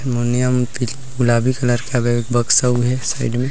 मन्यम ति गुलाबी कलर का एक बक्सा उधर साइड मे--